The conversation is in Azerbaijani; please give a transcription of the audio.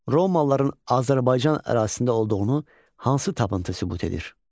Romalıların Azərbaycan ərazisində olduğunu hansı tapıntı sübut edir?